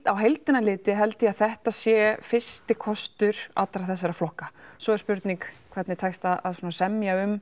á heildina litið held ég að þetta sé fyrsti kostur allra þessara flokka svo er spurning hvernig tekst að semja um